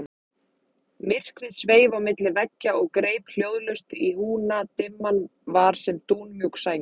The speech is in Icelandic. Myrkrið sveif á milli veggja og greip hljóðlaust í húna, dimman var sem dúnmjúk sæng.